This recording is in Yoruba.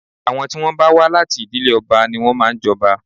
Àwọn tí wọ́n bá wà láti ìdílé ọba ni wọ́n máa ń jọba